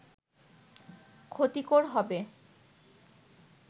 ক্ষতিকর হবে